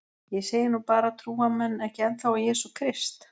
Ég segi nú bara trúa menn ekki ennþá á jesú krist?